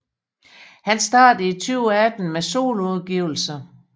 Han startede i 2018 med soloudgivelser